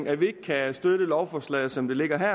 at vi ikke kan støtte lovforslaget som det ligger her